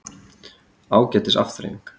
Ágætis afþreying.